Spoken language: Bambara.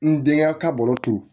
N denkɛ ka bolo to